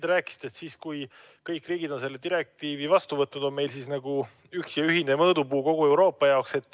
Te rääkisite, et siis, kui kõik riigid on selle direktiivi vastu võtnud, on meil nagu üks ühine mõõdupuu kogu Euroopa jaoks.